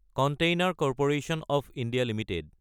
container corporation of India Ltd